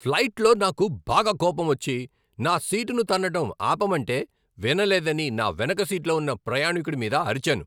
ఫ్లైట్లో నాకు బాగా కోపమొచ్చి, నా సీటును తన్నడం ఆపమంటే వినలేదని నా వెనుక సీట్లో ఉన్న ప్రయాణికుడి మీద అరిచాను.